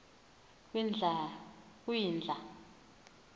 kwindla